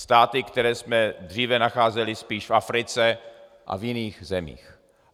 Státy, které jsme dříve nacházeli spíše v Africe a v jiných zemích.